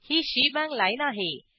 ही shebang line आहे